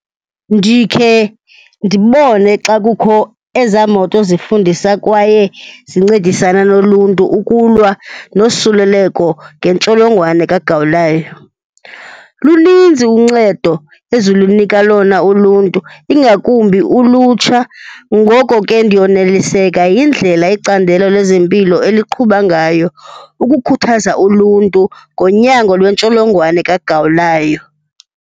Ndikhe ndibone xa kukho ezaa moto zifundisa kwaye zincedisana noluntu ukulwa nosuleleko ngentsholongwane kagawulayo. Luninzi uncedo ezilunika lona uluntu, ingakumbi ulutsha, ngoko ke ndiyoneliseka yindlela icandelo lezempilo eliqhuba ngayo ukukhuthaza uluntu ngonyango lwentsholongwane kagawulayo.